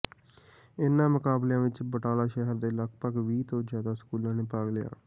ਇਨ੍ਹਾਂ ਮੁਕਾਬਲਿਆਂ ਵਿੱਚ ਬਟਾਲਾ ਸ਼ਹਿਰ ਦੇ ਲਗਭਗ ਵੀਹ ਤੋਂ ਜ਼ਿਆਦਾ ਸਕੂਲਾਂ ਨੇ ਭਾਗ ਲਿਆ